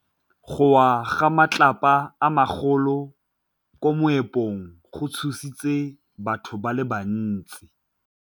Go wa ga matlapa a magolo ko moepong go tshositse batho ba le bantsi.